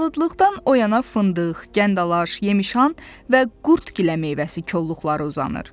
Palıdlıqdan o yana fındıq, gəndalaş, yemşan və qurd gilə meyvəsi kolluqları uzanır.